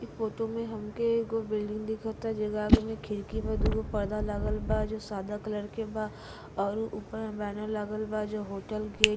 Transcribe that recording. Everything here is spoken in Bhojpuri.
इ फोटो में हमके एगो बिल्डिंग दिखता जेके आगे में खिड़की में दूगो पर्दा लागल बा जो सादा कलर के बा और उ ऊपर में बैनर लागल बा जो होटल के--